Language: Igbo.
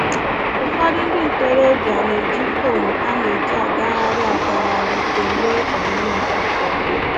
Ụfọdụ ndị ntorobịa na-eji fon a na-eji agagharị agagharị enwe ọnyi nzuzo